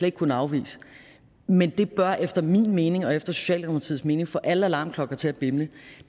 ikke kunne afvise men det bør efter min mening og efter socialdemokratiets mening få alle alarmklokker til at bimle